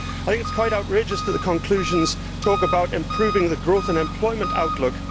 It is quite outrageous that the conclusions talk about improving the growth and employment outlook.